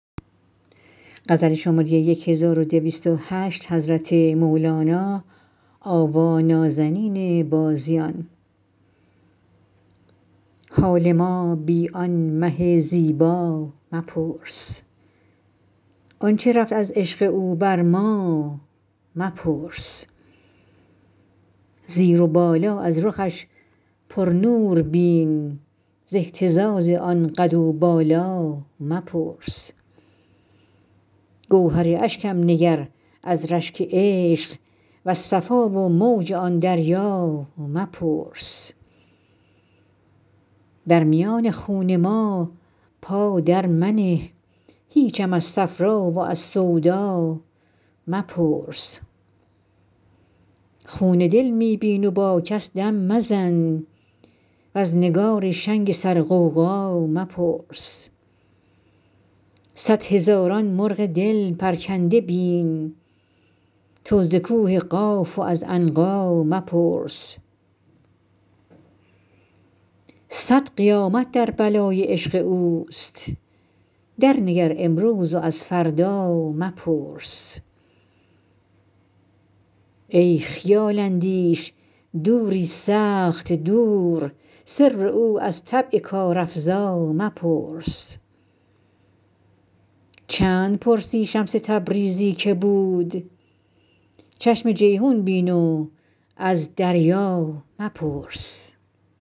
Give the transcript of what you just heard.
حال ما بی آن مه زیبا مپرس آنچ رفت از عشق او بر ما مپرس زیر و بالا از رخش پرنور بین ز اهتزاز آن قد و بالا مپرس گوهر اشکم نگر از رشک عشق وز صفا و موج آن دریا مپرس در میان خون ما پا درمنه هیچم از صفرا و از سودا مپرس خون دل می بین و با کس دم مزن وز نگار شنگ سرغوغا مپرس صد هزاران مرغ دل پرکنده بین تو ز کوه قاف و از عنقا مپرس صد قیامت در بلای عشق اوست درنگر امروز و از فردا مپرس ای خیال اندیش دوری سخت دور سر او از طبع کارافزا مپرس چند پرسی شمس تبریزی کی بود چشم جیحون بین و از دریا مپرس